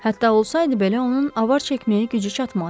Hətta olsaydı belə onun avar çəkməyə gücü çatmazdı.